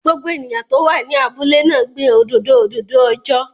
Gbogbo ènìyàn tó wà ní abúlé náà gbin òdòdó òdòdó ọjọ́